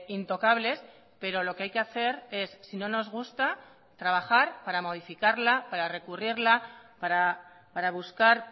intocables pero lo que hay que hacer es si no nos gusta trabajar para modificarla para recurrirla para buscar